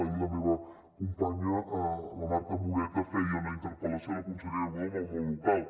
ahir la meva companya la marta moreta feia una interpel·lació a la consellera budó amb el món local